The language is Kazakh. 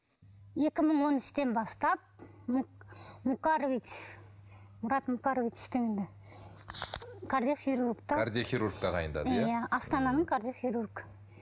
екі мың он үштен бастап мукарович мұрат мукарович кардиохирург кардиохирург тағайындады иә астананың кардиохирург